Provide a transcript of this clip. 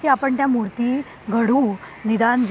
की आपण त्या मूर्ती घडवू,